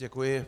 Děkuji.